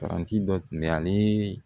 Paranti dɔ tun bɛ ale